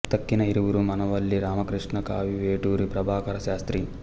తక్కిన ఇరువురు మానవల్లి రామకృష్ణ కవి వేటూరి ప్రభాకర శాస్త్రి